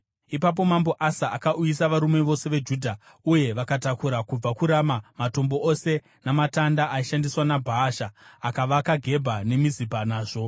Ipapo Mambo Asa akauyisa varume vose veJudha, uye vakatakura kubva kuRama matombo ose namatanda aishandiswa naBhaasha. Akavaka Gebha neMizipa nazvo.